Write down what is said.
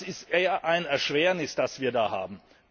Das ist eher ein Erschwernis, das wir da haben.